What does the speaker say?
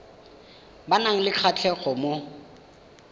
ba nang le kgatlhego mo